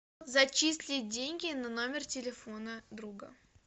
зачислить деньги на номер телефона друга